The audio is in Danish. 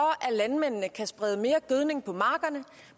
at landmændene kan sprede mere gødning på markerne